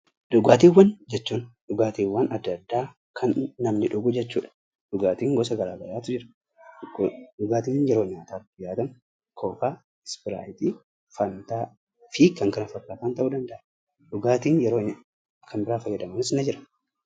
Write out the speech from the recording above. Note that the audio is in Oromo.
Dhugaatiiwwan jechuun dhugaatiiwwaan adda addaa kanneen namni dhugu jechuu dha. Dhugaatiin gosa garaa garaatu jira . Fakkeenyaaf Kokaa, Ispiraayitii, Fantaa fi kan kana fakkaatan ta'uu danda'a. Dhugaatii yeroo kan biraa fayyadamanis ni jira.